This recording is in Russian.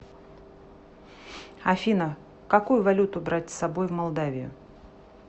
афина какую валюту брать с собой в молдавию